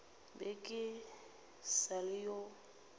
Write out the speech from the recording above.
be ke sa le yo